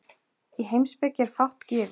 Í heimspeki er fátt gefið.